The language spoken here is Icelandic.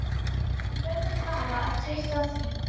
Hann verður bara að treysta því.